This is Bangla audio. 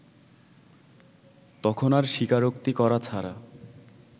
তখন আর স্বীকারোক্তি করা ছাড়া